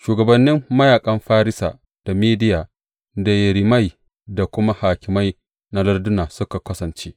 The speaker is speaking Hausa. Shugabannin mayaƙan Farisa, da Mediya, da yerimai; da kuma hakimai na lardunan suka kasance.